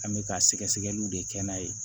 An bɛ ka sɛgɛsɛgɛliw de kɛ n'a ye